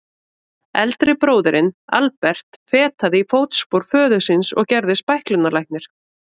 Eldri bróðirinn, Albert, fetaði í fótspor föður síns og gerðist bæklunarlæknir.